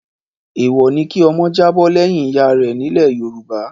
Èèwọ̀ ni kí ọmọ jábọ́ lẹ́yìn ìyá rẹ̀ nílẹ̀ Yorùbá.